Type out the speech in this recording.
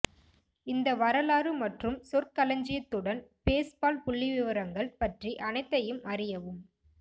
இந்த வரலாறு மற்றும் சொற்களஞ்சியத்துடன் பேஸ்பால் புள்ளிவிவரங்கள் பற்றி அனைத்தையும் அறியவும்